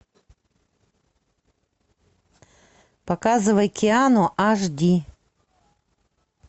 показывай киану аш ди